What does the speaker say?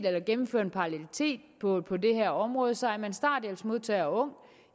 at gennemføre en parallelitet på det her område så er man starthjælpsmodtager og ung